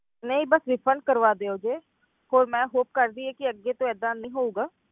ਨਹੀਂ ਬਸ refund ਕਰਵਾ ਦਿਓ ਜੀ ਹੋਰ ਮੈਂ hope ਕਰਦੀ ਹਾਂ ਕਿ ਅੱਗੇ ਤੋਂ ਏਦਾਂ ਨਹੀਂ ਹੋਊਗਾ।